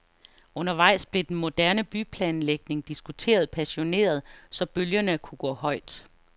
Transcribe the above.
Undervejs blev den moderne byplanlægning diskuteret passioneret, så bølgerne kunne gå højt.